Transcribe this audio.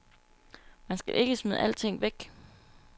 Man skal ikke smide alting væk.